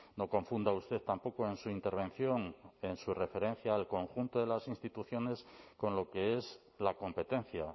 no confunda usted tampoco en su intervención en su referencia al conjunto de las instituciones con lo que es la competencia